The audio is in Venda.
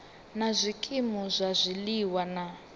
na zwikimu zwa zwiliwa na